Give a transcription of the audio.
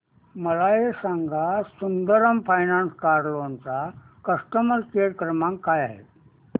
मला हे सांग सुंदरम फायनान्स कार लोन चा कस्टमर केअर क्रमांक काय आहे